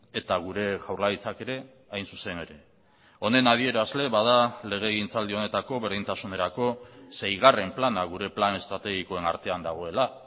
eta gure jaurlaritzak ere hain zuzen ere honen adierazle bada legegintzaldi honetako berdintasunerako seigarren plana gure plan estrategikoen artean dagoela